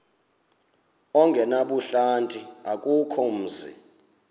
ongenabuhlanti akukho mzi